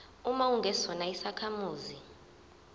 uma ungesona isakhamuzi